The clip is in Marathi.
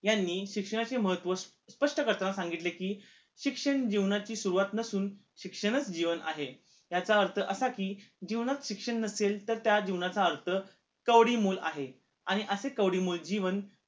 यांनी शिक्षणाचे महत्व स्पष्ट करताना सांगितले कि शिक्षण जीवनाची सुरुवात नसून शिक्षणच जीवन आहे याचा अर्थ असा कि जीवनात शिक्षण नसेल तर त्या जीवनाचा अर्थ कवडी मोल आहे आणि असे कवडी मोल जीवन